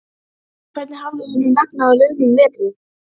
Hvernig hafði honum vegnað á liðnum vetri?